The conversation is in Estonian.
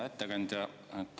Hea ettekandja!